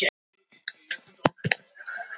Hann vissi ekki til að hann hefði gert neitt af sér.